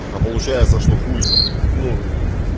а получается что хуй ну